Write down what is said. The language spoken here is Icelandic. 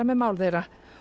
með mál þeirra